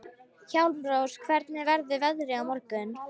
Hjálmrós, hvernig verður veðrið á morgun?